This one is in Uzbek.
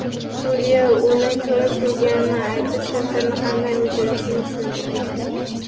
Sudya uni ko‘rib turganini aytib, filtrni qanday o‘chirishni tushuntirgan.